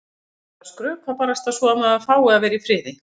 Þá er betra að skrökva barasta svo að maður fái að vera í friði.